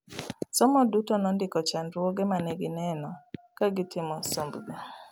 Somo duto nondiko chandruoge manegineno ka gitimo somb gi